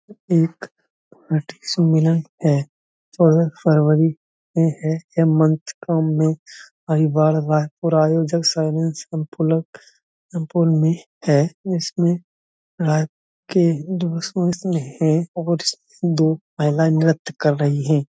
एक सम्मलेन हैं। चौदह फरवरी है ये मंथ बार-बार और आयोजक है इसमें और इसमें दो महिलाये नृत्य कर रही हैं।